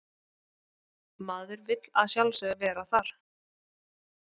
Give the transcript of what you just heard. Maður vill að sjálfsögðu vera þar